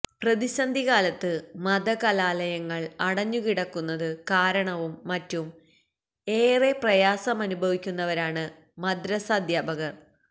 പ്രതിസഡി കാലത്ത് മതകലാലയങ്ങള് അടഞ്ഞുകിടക്കുന്നത് കാരണവും മറ്റും ഏറെ പ്രയാസമനുഭവിക്കുന്നവരാണ് മദ്റസാധ്യാപകര്